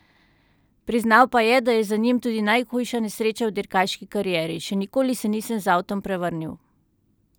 Priznal pa je, da je za njim tudi najhujša nesreča v dirkaški karieri: "Še nikoli se nisem z avtom prevrnil.